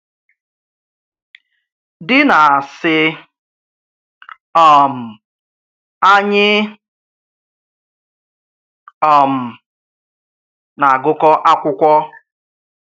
Dì nà-àsị̀: um Ànyị̀ um nà-àgụ́kọ̀ àkwụ̀kwọ̀.